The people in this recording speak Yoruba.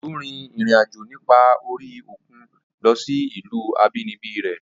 Ọ̀jọ́ rin ìrìn àjò nípa orí òkun lọ sí ìlú àbínibí rẹ̀